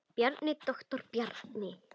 Bjarni, doktor Bjarni.